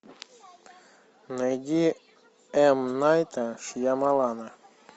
найди м найта шьямалана